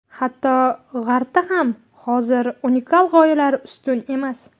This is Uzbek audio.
Hatto, G‘arbda ham hozir unikal g‘oyalar ustun emas.